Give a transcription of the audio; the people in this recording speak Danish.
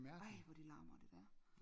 Ej hvor det larmer det dér